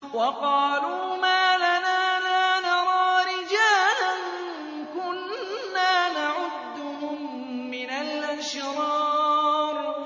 وَقَالُوا مَا لَنَا لَا نَرَىٰ رِجَالًا كُنَّا نَعُدُّهُم مِّنَ الْأَشْرَارِ